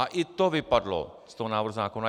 A i to vypadlo z toho návrhu zákona.